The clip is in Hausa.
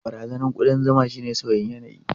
Barazanar kudan zuma shine sauyin yanayi.